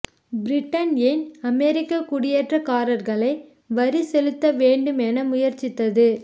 Britain ஏன் அமெரிக்க குடியேற்றக்காரர்களை வரி செலுத்த வேண்டும் என முயற்சித்தது